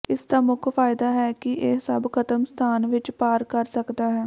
ਇਸ ਦਾ ਮੁੱਖ ਫਾਇਦਾ ਹੈ ਕਿ ਇਹ ਸਭ ਖਤਮ ਸਥਾਨ ਵਿੱਚ ਪਾਰ ਕਰ ਸਕਦਾ ਹੈ